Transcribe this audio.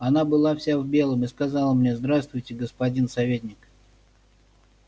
она была вся в белом и сказала мне здравствуйте господин советник